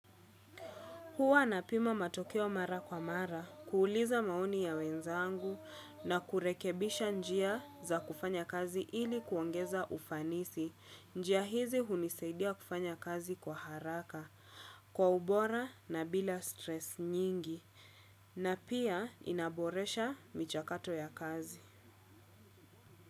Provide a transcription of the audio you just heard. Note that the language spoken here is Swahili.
Huwa na pima matokeo mara kwa mara, kuuliza maoni ya wenzangu na kurekebisha njia za kufanya kazi ili kuongeza ufanisi. Njia hizi hunisaidia kufanya kazi kwa haraka, kwa ubora na bila stress nyingi na pia inaboresha michakato ya kazi.